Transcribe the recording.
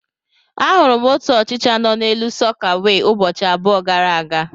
Ahụrụ m otu ọchịcha nọ n'elu sọkeewe ụbọchị abụọ gara aga.